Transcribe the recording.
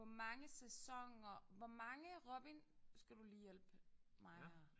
Hvor mange sæsoner hvor mange Robin skal du lige hjælpe mig her